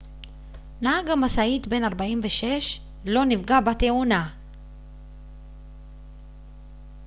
נהג המשאית בן 64 לא נפגע בתאונה